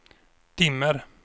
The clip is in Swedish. dimmer